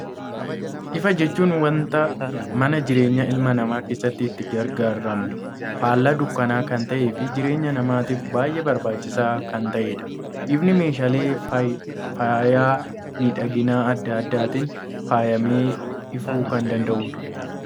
Ifa jechuun, waanta mana jireenyaa ilma namaa keessatti itti gargaaramnu, faallaa dukkanaa kan ta'ee fi jireenya namaatiif baayyee barbaachisaa kan ta'edha. Ifni meeshaalee faayaa miidhaginaa addaa addaatiin faayamee ifuu kan danda'udha.